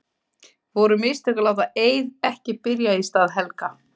Voru mistök að láta Eið ekki byrja í stað Helga?